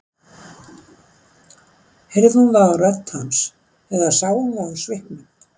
Heyrði hún það á rödd hans eða sá það á svipnum?